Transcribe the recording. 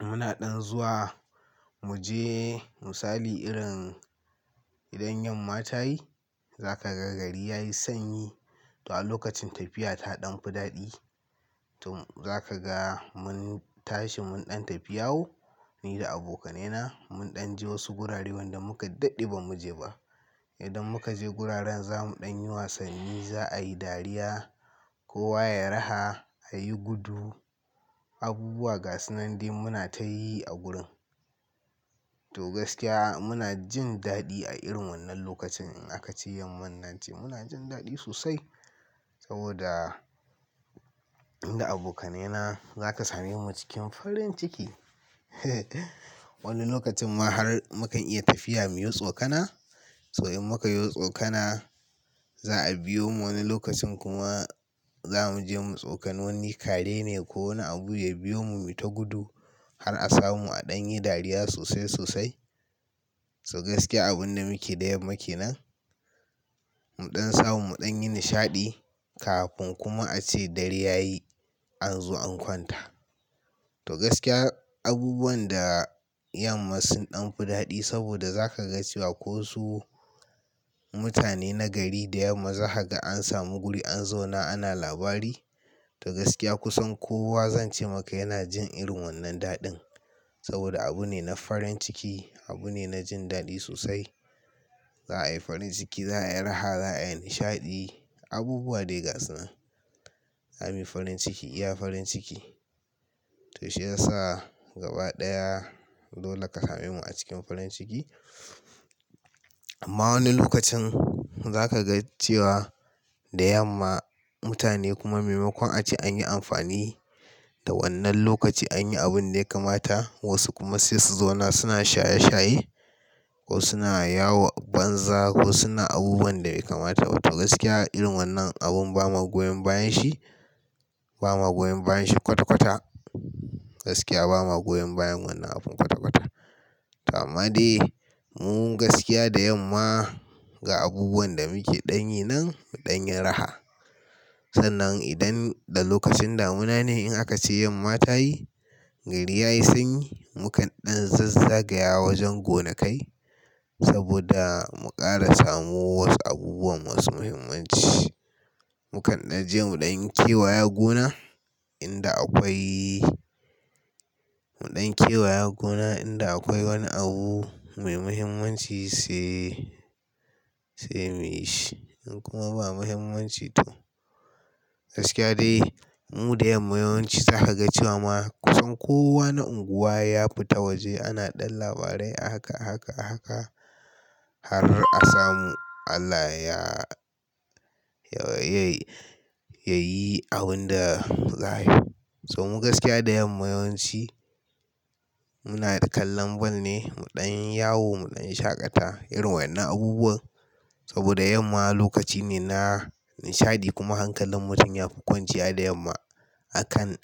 muna ɗan zuwa mu je misali irin idan 'yan mata yi, za ka ga gari ya yi sanyi. To a lokacin tafiya ta ɗan fi daɗi. To za ka ga mun tashi mun ɗan tafiyawo ni da abokanai na. Mun ɗan je wasu gurare wanda muka daɗe ba mu je ba. Idan muka je guraren za mu ɗan yi wasanni, za a yi dariya. Kowa ya yi raha, a yi gudu. Abubuwa ga sunan dai muna ta yi a gurin. To gaskiya muna jin daɗi a irin wannan lokacin in aka ce yamma nan ce. Muna jin daɗi sosai saboda da abokanai na za ka same mu cikin farin ciki. Wani lokacin ma har mukan iya tafiya mu yi tsokana. To in muka yi tsokana, za a biyo mu. Wani lokacin kuma za mu je mu tsokani wani kare ne ko wani abu ya biyo mu mu ta gudu har a samu a ɗan yi dariya sosai sosai. To gaskiya abun da muke da yamma kenan, mu ɗan samu mu ɗan yi nishaɗi kafin kuma a ce dare ya yi an zo an kwanta. To gaskiya abubuwan da yamma sun ɗan fi daɗi saboda za ka ga cewa kosu mutane na gari da yamma za ka ga an samu guri an zauna ana labari. To gaskiya kusan kowa zan ce maka yana jin irin wannan daɗin saboda abu ne na farin ciki. Abu ne na jin daɗi sosai. Za a yi farin ciki, za a yi raha, za a yi nishaɗi. Abubuwa dai ga sunan. Za muyi farin ciki, iya farin ciki. To shi ya sa gaba ɗaya dole ka same mu a cikin farin ciki. Amma wani lokacin za ka ga cewa da yamma mutane kuma maimakon a ce anyi amfani da wannan lokaci anyi abun da ya kamata wasu kuma sai su zauna suna shaye shaye ko suna yawo banza ko suna abubuwan da bai kamata ba. To gaskiya irin wannan abun ba ma goyan bayan shi, ba ma goyan bayan shi kwata kwata. Gaskiya ba magoya bayan wannan abun kwata kwata. Amade mu gaskiya da yamma ga abubuwan da muke ɗan yi nan mu ɗan yi raha. Sannan idan da lokacin damuna ne in aka ce yamma ta yi, gari ya yi sanyi, mu kan ɗan zazzagaya wajen gonakai saboda mu ƙara samo wasu abubuwan masu muhimmanci. Mu kan ɗan je mu ɗan kewaya gona inda akwai, mu ɗan kewaya gona inda akwai wani abu mai muhimmanci sai, sai mu yi shi. In kuma ba muhimmanci to gaskiya dai mu da yamma yawanci za ka ga cewa kusan kowa na unguwa ya fita waje ana ɗan labarai a haka a haka a haka har a samu Allah ya ya, ya yayi abin da za ayi. To mu gaskiya da yamma yawanci muna da kallon ball ne. Mu ɗan yawo, mu ɗan shaƙata irin wainnan abubuwan saboda yamma lokaci ne na nishaɗi kuma hankalin mutum ya fi kwanciya da yamma akan.